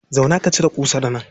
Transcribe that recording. Zauna ka cire ƙusar nan.